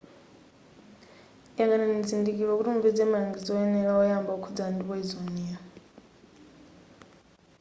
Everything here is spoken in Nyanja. yang'anani chizindikiro kuti mupeze malangizo oyenera oyamba okhudzana ndi poyizoniyo